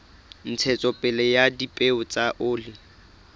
ntshetsopele ya dipeo tsa oli